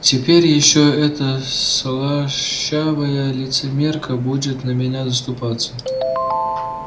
теперь ещё эта слащавая лицемерка будет за меня заступаться